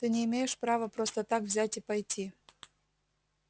ты не имеешь права просто так взять и пойти